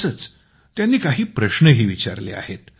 तसेच त्यांनी काही प्रश्नही विचारले आहेत